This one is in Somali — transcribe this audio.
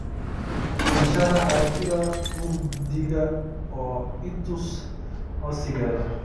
ii sharax aragtida mugdiga oo i tus codsigeeda